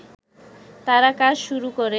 তারা কাজ শুরু করে